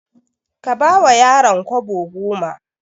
Ka bawa yaron kwabo goma.